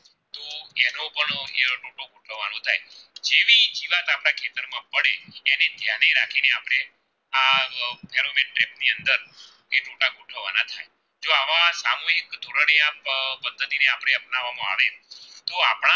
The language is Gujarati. અને આ પદ્ધતિ ને આપણે અપનાવામાં આવે તો આપણા